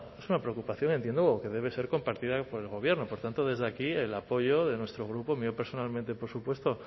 es una preocupación entiendo que debe ser compartida por el gobierno por tanto desde aquí el apoyo de nuestro grupo el mío personalmente por supuesto